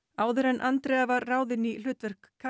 áður en Andrea var ráðin í hlutverk